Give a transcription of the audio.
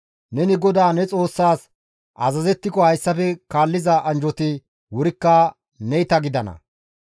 Neni GODAA ne Xoossaas azazettiko hayssafe kaalliza anjjoti wurikka neyta gidana.